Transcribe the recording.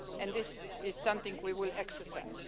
This is something we will exercise.